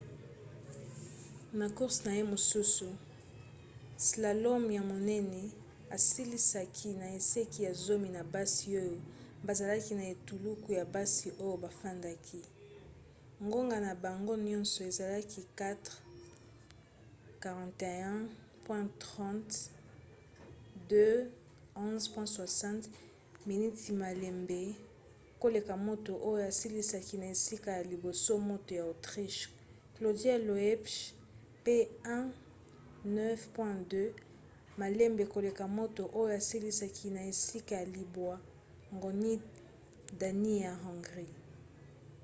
na course na ye mosusu slalom ya monene asilisaki na esika ya zomi na basi oyo bazalaki na etuluku ya basi oyo bafandaki; ngonga na bango nyonso ezalaki 4:41.30 2:11.60 miniti malembe koleka moto oyo asilisaki na esika ya liboso moto ya autriche claudia loesch pe 1:09.02 malembe koleka moto oyo asilisaki na esika ya libwa gyöngyi dani ya hongrie